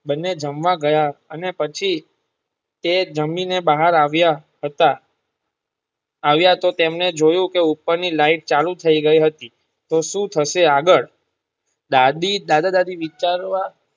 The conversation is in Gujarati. બંને જમવા ગયા અને પછી તે જામી ને બહાર આવિયા હતા આવિયા હતા તેમને જોયું કે ઉપર ની લાઈટ ચાલુ થઈ ગઈ હતી તો સુ થશે આગળ દાદી દાદા દાદી વિચાર વા.